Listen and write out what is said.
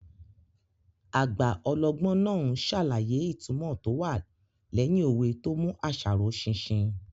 Àgbà ọlọ́gbọ́n náà n ṣàlàyé ìtumọ̀ tó wà lẹ́yìn òwe tó mú àṣà ró ṣinṣin